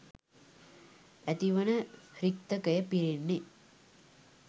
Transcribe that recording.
ඇතිවන රික්තකය පිරෙන්නේ